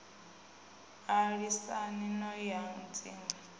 a lisani no i hadzinga